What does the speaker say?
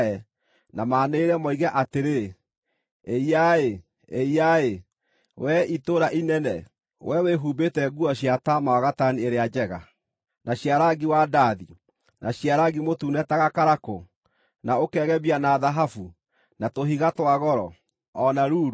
na maanĩrĩre, moige atĩrĩ: “ ‘Ĩiya-ĩ! Ĩiya-ĩ! Wee itũũra inene, wee wĩhumbĩte nguo cia taama wa gatani ĩrĩa njega, na cia rangi wa ndathi, na cia rangi mũtune ta gakarakũ, na ũkegemia na thahabu, na tũhiga twa goro, o na ruru!